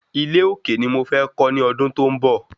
Ilé òkè ni mo fẹ́ kọ́ ní ọdún tó ń bọ̀